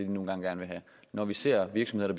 nu engang gerne vil have når vi ser virksomheder